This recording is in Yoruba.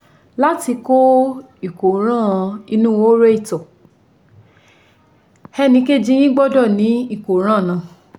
Láti kó ìkóràn inú horo ìtọ̀ ẹnìkejì yín gbọ́dọ̀ ní ìkóràn náà